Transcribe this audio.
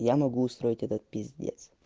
я могу устроить этот пиздец